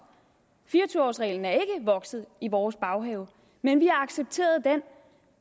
reglen er ikke vokset i vores baghave men vi har accepteret den